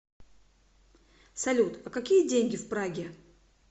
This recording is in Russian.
салют а какие деньги в праге